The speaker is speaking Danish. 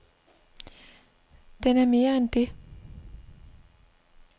Den er mere end det.